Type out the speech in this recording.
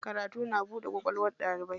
Karatu na buɗe kwakwalwar ɗalibi.